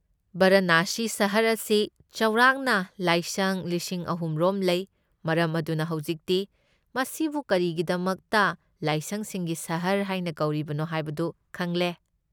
ꯕꯔꯥꯅꯁꯤ ꯁꯍꯔ ꯑꯁꯤ ꯆꯥꯎꯔꯥꯛꯅ ꯂꯥꯏꯁꯪ ꯂꯤꯁꯤꯡ ꯑꯍꯨꯝ ꯔꯣꯝ ꯂꯩ, ꯃꯔꯝ ꯑꯗꯨꯅ ꯍꯧꯖꯤꯛꯇꯤ ꯃꯁꯤꯕꯨ ꯀꯔꯤꯒꯤꯗꯃꯛꯇ 'ꯂꯥꯏꯁꯪꯁꯤꯡꯒꯤ ꯁꯍꯔ' ꯍꯥꯏꯅ ꯀꯧꯔꯤꯕꯅꯣ ꯍꯥꯏꯕꯗꯨ ꯈꯪꯂꯦ꯫